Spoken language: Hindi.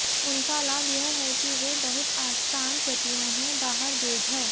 उनका लाभ यह है कि वे बहुत आसान प्रतियां हैं बारह गेज है